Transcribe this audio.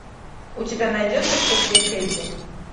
у тебя найдется кто твой кэдди